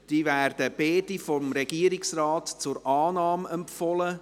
Sie werden vom Regierungsrat beide zur Annahme empfohlen.